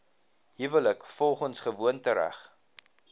huwelik volgens gewoontereg